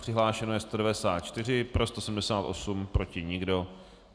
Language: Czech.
Přihlášeno je 194, pro 178, proti nikdo.